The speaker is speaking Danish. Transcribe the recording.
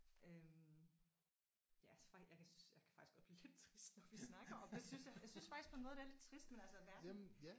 Øh ja så faktisk jeg kan faktisk godt blive lidt trist når vi snakker om det synes jeg. Jeg synes faktisk på en måde det er lidt trist men altså verden